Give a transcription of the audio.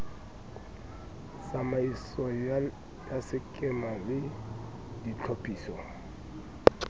tsamaiso ya sekema le ditlhophiso